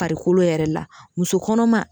Parikolo yɛrɛ la muso kɔnɔma